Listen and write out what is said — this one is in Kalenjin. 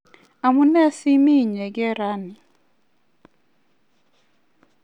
amune simi inyekei raini?